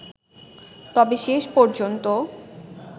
তবে শেষ পর্যন্ত